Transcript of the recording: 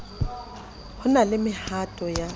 ho na le mehato ya